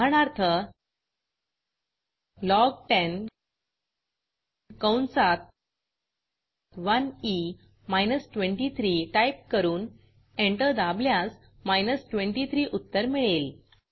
उदाहरणार्थ लॉग10 कंसात 1ई माइनस 23 टाईप करून एंटर दाबल्यास 23 उत्तर मिळेल